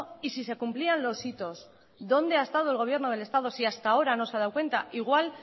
y si se cumplían los hitos dónde ha estado el gobierno del estado si hasta ahora no se ha dado cuenta igual